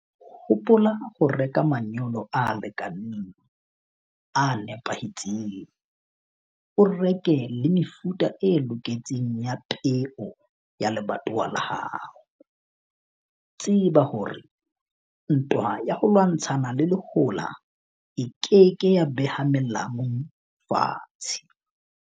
Hopola ho reka manyolo a lekaneng, a nepahetseng. O reke le mefuta e loketseng ya peo ya lebatowa la hao. Tseba hore ntwa ya ho lwantshana le lehola e ke ke ya beha melamu fatshe.